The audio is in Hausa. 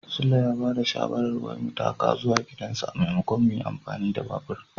Sule ya ba da shawarar wai mu taka zuwa gidansa maimakon mu yin amfani da babur.